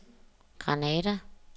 Granada